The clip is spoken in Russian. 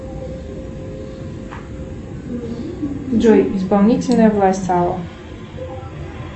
джой исполнительная власть сала